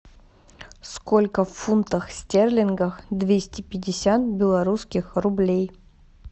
сколько в фунтах стерлингах двести пятьдесят белорусских рублей